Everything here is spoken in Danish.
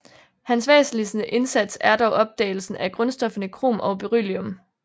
Hans væsentligste indsats er dog opdagelsen af grundstofferne krom og beryllium